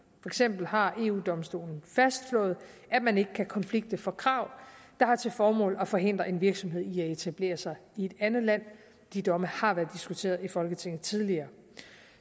eksempel har eu domstolen fastslået at man ikke kan konflikte for krav der har til formål at forhindre en virksomhed i at etablere sig i et andet land de domme har været diskuteret i folketinget tidligere